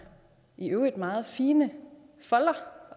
i øvrigt meget fine folder